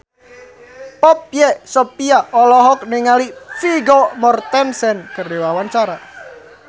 Poppy Sovia olohok ningali Vigo Mortensen keur diwawancara